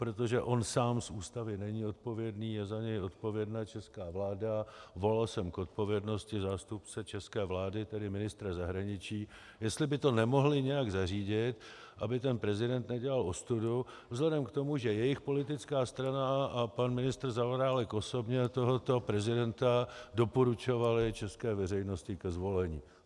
Protože on sám z Ústavy není odpovědný, je za něj odpovědná česká vláda, volal jsem k odpovědnosti zástupce české vlády, tedy ministra zahraniční, jestli by to nemohli nějak zařídit, aby ten prezident nedělal ostudu, vzhledem k tomu, že jejich politická strana a pan ministr Zaorálek osobně tohoto prezidenta doporučovali české veřejnosti ke zvolení.